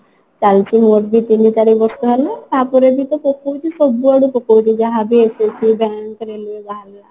ତାହେଲେ ସେଇ ମୋର ବି ତିନି ଚାରି ବର୍ଷ ହେଲା ତାପରେ ବି ତ ପକଉଛି ସବୁଆଡୁ ପକଉଛି ଯାହାବି SSC bank railway ବାହାରିଲା